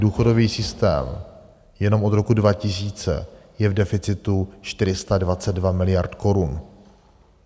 Důchodový systém jenom od roku 2000 je v deficitu 422 miliard korun.